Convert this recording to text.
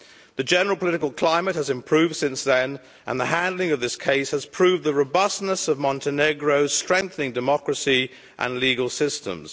The general political climate has improved since then and the handling of this case has proved the robustness of Montenegro, strengthening democracy and legal systems.